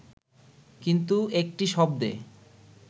কিন্তু একটি শব্দে